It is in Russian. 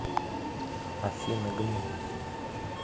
афина гм